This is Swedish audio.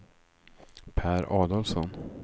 Pär Adolfsson